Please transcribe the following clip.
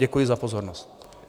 Děkuji za pozornost.